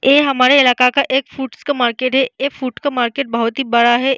ए हमारे इलाका का एक फ्रूट्स का मार्किट है ए फ्रूट का मार्किट बहुत ही बड़ा है।